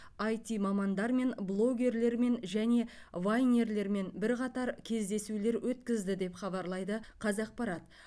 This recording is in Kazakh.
айти мамандармен блогерлермен және вайнерлермен бірқатар кездесулер өткізді деп хабарлайды қазақпарат